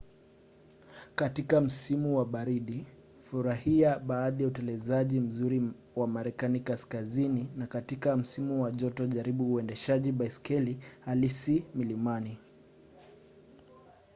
katika msimu wa baridi furahia baadhi ya utelezaji mzuri wa marekani kaskazini na katika msimu wa joto jaribu uendeshaji baiskeli halisi milimani